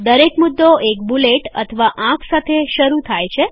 દરેક મુદ્દો એક બુલેટ અથવા આંક સાથે શરૂ થાય છે